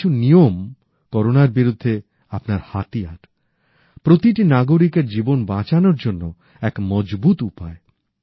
এই কিছু নিয়ম করোনার বিরুদ্ধে আপনার হাতিয়ার প্রতিটি নাগরিকের জীবন বাঁচানোর জন্য এক মজবুত উপায়